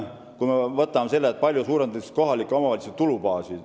Vaatame, kui palju suurendatakse kohalike omavalitsuste tulubaasi.